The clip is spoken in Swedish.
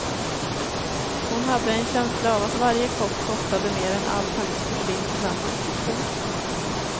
Hon hade en känsla av att varje kopp kostade mer än allt hennes porslin tillsammans. punkt